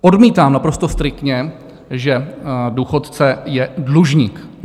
Odmítám naprosto striktně, že důchodce je dlužník.